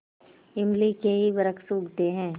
इमली के ही वृक्ष उगते हैं